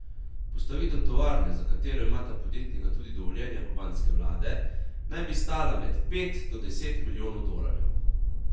Postavitev tovarne, za katero imata podjetnika tudi dovoljenja kubanske vlade, naj bi stala med pet do deset milijonov dolarjev.